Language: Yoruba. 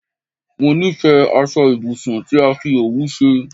Mó nifẹ aṣọ ibùsùn tí a fi òwú ṣe